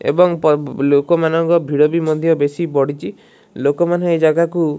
ଏବଂ ପ ଲୋକମାନଙ୍କର ଭିଡ଼ ମଧ୍ୟ ବେଶି ବଢ଼ିଛି ଲୋକମାନେ ଏ ଜାଗାକୁ।